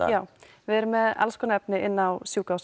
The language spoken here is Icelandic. já við erum með alls konar efni á